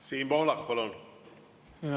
Siim Pohlak, palun!